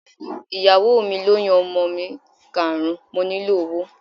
Ìyàwó mi lóyún ọmọ mi karùn-ún, mo nílò owó.